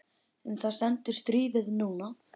Um það stendur stríðið nú.